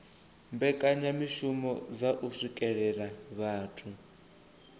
mbekanyamishumo dza u swikelela vhathu